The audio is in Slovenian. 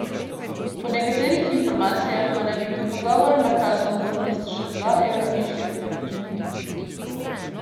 Po nekaterih informacijah pa naj bi med pogovorom nakazal možnost še dva evra višje povprečnine.